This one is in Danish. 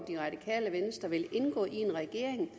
det radikale venstre vil indgå i en regering